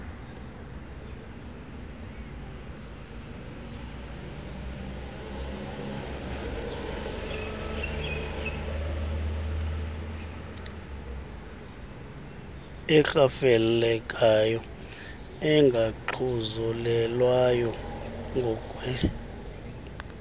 erhafelekayo engaxhuzulelwayo ngokwe